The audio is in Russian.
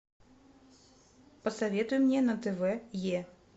посоветуй мне на тв е